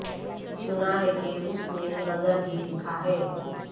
سنا ہے کہ اس نے غضب ہی لکھا ہے